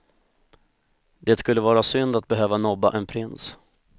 Det skulle vara synd att behöva nobba en prins.